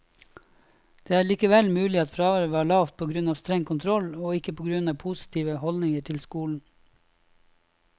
Det er likevel mulig at fraværet var lavt på grunn av streng kontroll, og ikke på grunn av positive holdninger til skolen.